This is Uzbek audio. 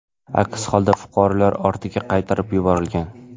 Aks holda fuqarolar ortiga qaytarib yuborilgan.